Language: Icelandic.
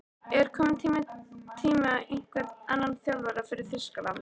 Er kominn tími á einhvern annan þjálfara fyrir Þýskaland?